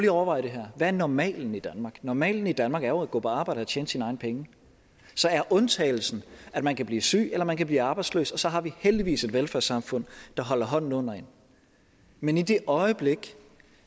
at overveje det her hvad er normalen i danmark normalen i danmark er jo at gå på arbejde og tjene sine egne penge så er undtagelsen at man kan blive syg eller man kan blive arbejdsløs og så har vi heldigvis et velfærdssamfund der holder hånden under en men i det øjeblik